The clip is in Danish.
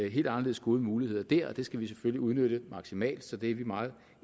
helt anderledes gode muligheder der og det skal vi selvfølgelig udnytte maksimalt så det er vi meget